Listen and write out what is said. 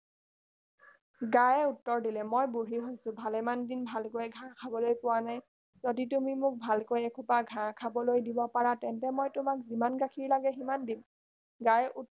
গায়ে উত্তৰ দিলে মই বুঢ়ী হৈছো ভালেমান দিন ভালকৈ ঘাঁহ খাবলৈ পোৱা নাই তুমি যদি মোক ভালকৈ এসোপা ঘাঁহ খাবলৈ দিব পাৰা তেন্তে মই তোমাক যিমান গাখীৰ লাগে সিমান দিম গাইৰ উত্তৰ